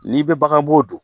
N'i bɛ baganbo don